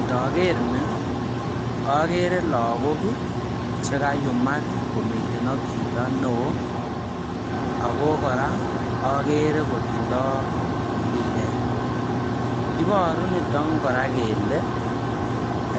Ndogeer ni ogeere logok Ii chekaiyumak komiten ak chito neo ako kora ogeere kotindoi impiret iboru nito kora kele